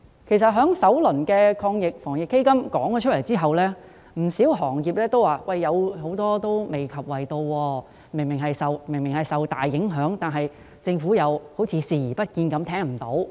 在政府公布首輪防疫抗疫基金的詳情後，不少行業均表示未能受惠，明顯大受影響的行業，政府卻好像視而不見，聽而不聞。